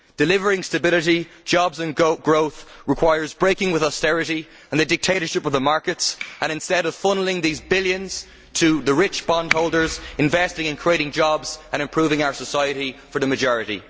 Delivering stability, jobs and growth requires breaking with austerity and the dictatorship of the markets and, instead of funnelling these billions to the rich bondholders, investing increasing jobs and improving our society for the majority.